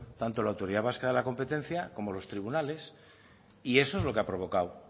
tanto la autoridad vasca de la competencia como los tribunales y eso es lo que ha provocado